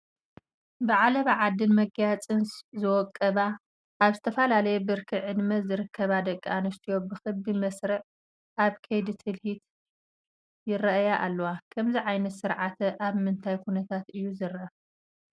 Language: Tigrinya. ብዓለባ ዓድን መጋየፅን ዝወቀባ ኣብ ዝተፈላለየ ብርኪ ዕድመ ዝርከባ ደቂ ኣንስትዮ ብክቢ መስርዕ ኣብ ከይዲ ትልሂት ይርአያ ኣለዋ፡፡ ከምዚ ዓይነት ስርዓት ኣብ ምንታይ ኩነታት እዩ ዝርአ?